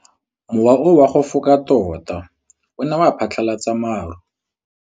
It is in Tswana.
Mowa o wa go foka tota o ne wa phatlalatsa maru.